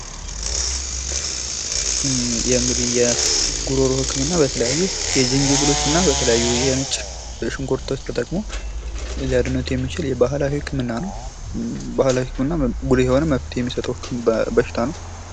እንግዲህ የጉሮሮ ህክምና በተለያዩ የዝንጅብሎች እና በተለያዩ የነጭ ሽንኩርት ተጠቅሞ ሊያድኑት የሚችል የባህላዊ ህክምና ነው። ባህላዊ ህክምና ጉልህ የሆነ መብት የሚሰጠው በሽታ ነው።